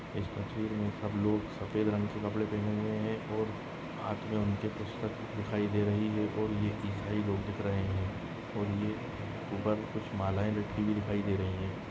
इस तस्वीर मे सब लोग सफ़ेद रंग के कपड़े पहने हुए है और हात मे उनके पुस्तक दिखाई दे रही है और ये ईसाई लोग दिख रहे है और ये उपर कुछ मालाए लटकी हुई दिखाई दे रही है।